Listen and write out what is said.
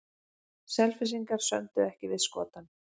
Selfyssingar sömdu ekki við Skotann